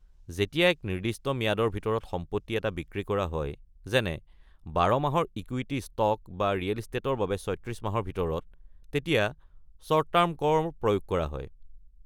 যেতিয়া এক নিৰ্দিষ্ট ম্যাদৰ ভিতৰত সম্পত্তি এটা বিক্ৰী কৰা হয় যেনে ১২ মাহৰ ইকুইটি ষ্টক বা ৰিয়েল ইষ্টেটৰ বাবে ৩৬ মাহৰ ভিতৰত, তেতিয়া শ্বৰ্ট টাৰ্ম কৰ প্ৰয়োগ কৰা হয়।